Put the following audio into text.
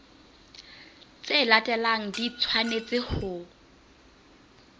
tse latelang di tshwanetse ho